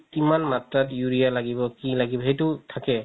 কিমান মাত্ৰাত urea লাগিব কি লাগিব সেইটো থাকে